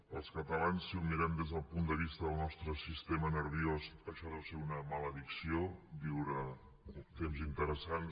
per als catalans si ho mirem des del punt de vista del nostre sistema nerviós això deu ser una maledicció viure temps interessants